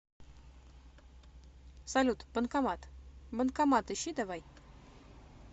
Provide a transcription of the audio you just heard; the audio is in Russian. салют банкомат банкомат ищи давай